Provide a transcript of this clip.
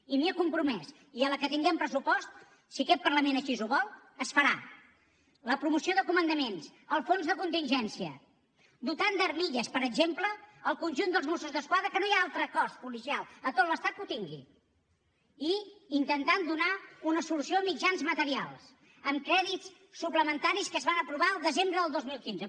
i m’hi he compromès i així que tinguem pressupost si aquest parlament així ho vol es farà la promoció de comandaments el fons de contingència i es dotarà d’armilles per exemple el conjunt dels mossos d’esquadra que no hi ha altre cos policial a tot l’estat que ho tingui i s’intentarà donar una solució a mitjans materials amb crèdits suplementaris que es van aprovar al desembre del dos mil quinze